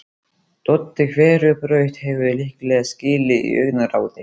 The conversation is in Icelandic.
Doddi hverfur á braut, hefur líklega skilið augnaráðið.